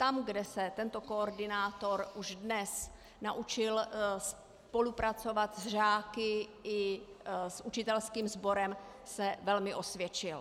Tam, kde se tento koordinátor už dnes naučil spolupracovat s žáky i s učitelským sborem, se velmi osvědčil.